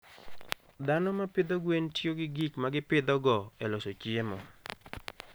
Dhano ma pidho gwen tiyo gi gik ma gipidhogo e loso chiemo.